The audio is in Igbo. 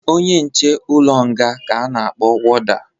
Onye nche ụlọ nga ka a na-akpọ woda